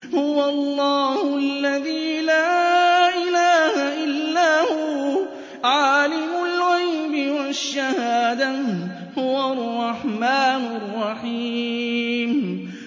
هُوَ اللَّهُ الَّذِي لَا إِلَٰهَ إِلَّا هُوَ ۖ عَالِمُ الْغَيْبِ وَالشَّهَادَةِ ۖ هُوَ الرَّحْمَٰنُ الرَّحِيمُ